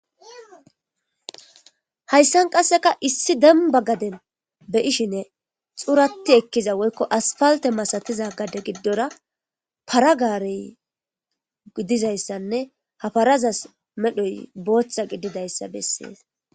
Hayssan qasekka issi dembba gadden be'shin xuratti ekkiza woyko asppaltte misattiza gadde gidorra haaro gare giddizayssane ha pharazas medhoy booththa gididayssa besses.